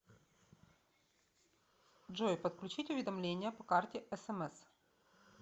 джой подключить уведомления по карте смс